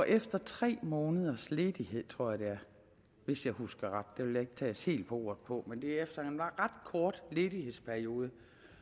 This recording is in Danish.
efter tre måneders ledighed tror jeg det er hvis jeg husker ret det vil jeg ikke tages helt på ordet på men det er efter en ret kort ledighedsperiode